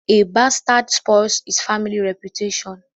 A bastard spoils his family reputation.